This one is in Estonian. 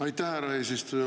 Aitäh, härra eesistuja!